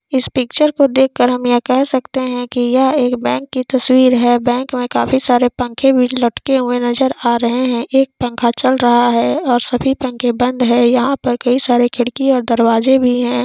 इस पिक्चर को देख कर हम यह कह सकते है की ये एक बेंक की तसवीर है बेंक में काफी सारे पंखे भी लटके हुए नजर आ रहे है एक पंखा चल रहा है और सभी पंखे बंद है यहा पे कई सारे खिड़की और दरवाजे भी है।